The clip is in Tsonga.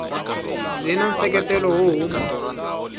byi na nseketelo wo huma